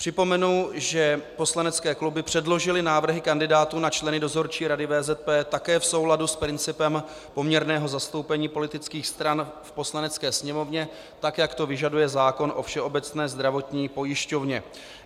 Připomenu, že poslanecké kluby předložily návrhy kandidátů na členy Dozorčí rady VZP také v souladu s principem poměrného zastoupení politických stran v Poslanecké sněmovně, tak jak to vyžaduje zákon o Všeobecné zdravotní pojišťovně.